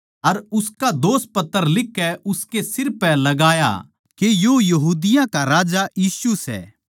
अर उसका दोषपत्र लिखकै उसकै सिर पै लगाया के यो यहूदिया का राजा यीशु सै